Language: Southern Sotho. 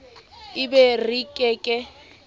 e be re ke ke